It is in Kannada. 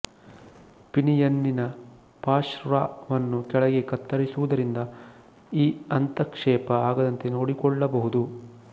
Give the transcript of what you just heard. ಪಿನಿಯನ್ನಿನ ಪಾಶರ್್ವವನ್ನು ಕೆಳಗೆ ಕತ್ತರಿಸುವುದರಿಂದ ಈ ಅಂತಃಕ್ಷೇಪ ಆಗದಂತೆ ನೋಡಿಕೊಳ್ಳಬಹುದು